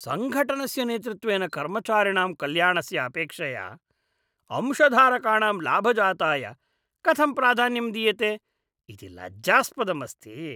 सङ्घटनस्य नेतृत्वेन कर्मचारिणां कल्याणस्य अपेक्षया अंशधारकाणां लाभजाताय कथं प्राधान्यम् दीयते इति लज्जास्पदम् अस्ति।